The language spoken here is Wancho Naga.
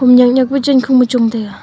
nyak nyak pu chankhung ma chong taiga.